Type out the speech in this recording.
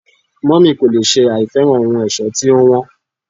mummy kò lè sẹ àìfẹ́ràn ohun ẹ̀ṣọ́ tí ó wón